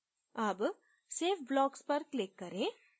अब save blocks पर click करें